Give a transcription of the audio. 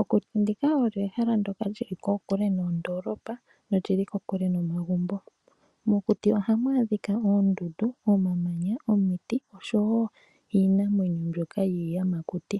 Okuti ndika olyo ehala li li kokule noondoolopa noli li kokule nomagumbo. Mokuti ohamu adhika oondundu, omamanya, omiti oshowo iinamwenyo mbyoka yiiyamakuti.